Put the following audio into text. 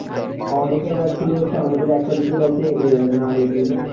আমাদের এখানে ছিলো আমাদের একটা দুটো ব্যাচে উম মানে আগের যেগুলো